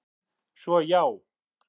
Svo, já!